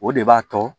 O de b'a to